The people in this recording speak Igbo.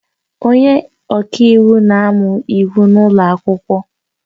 Onye ọka iwu na-amụ Iwu n'ụlọ akwụkwọ